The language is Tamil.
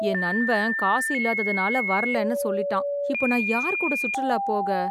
என் நண்பன் காசு இல்லாததனால வரலைன்னு சொல்லிட்டா. இப்போ நான் யார்கூட சுற்றுலா போக